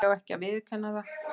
Því ekki að viðurkenna það.